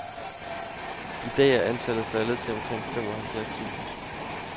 I dag er antallet faldet til omkring fem halvfjerds tusind.